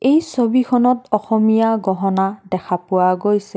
এই ছবিখনত অসমীয়া গহনা দেখা পোৱা গৈছে।